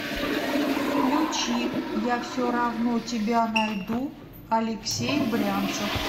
включи я все равно тебя найду алексей брянцев